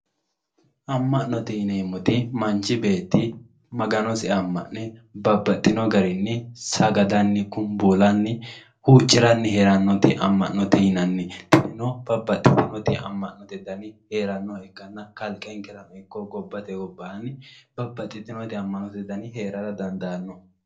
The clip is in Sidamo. Ama'note yineemmoti manchi beetti Maganosi amane babbaxino garinni sagadanni kumbullanni huucciranni heeranoti ama'note yinnanni tinino babbaxitinoti ama'note danni heeranoha ikkanna kalqenkerano ikko gobbate gobbanni babbaxitinoti heera dandiittano.